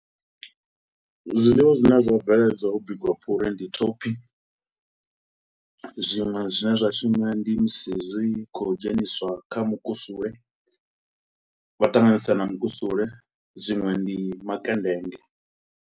Zwiḽiwa zwine zwo bveledzwaho u bikiwa phuri, ndi thophi, zwiṅwe zwine zwa shuma ndi musi zwi khou dzheniswa kha mukusule. Vha ṱanganyisa na mukusule, zwiṅwe ndi makendenge.